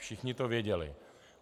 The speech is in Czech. Všichni to věděli.